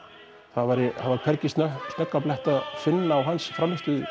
það var hvergi snöggan blett að finna á hans frammistöðu